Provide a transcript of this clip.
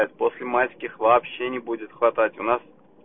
так после майских вообще не будет хватать у нас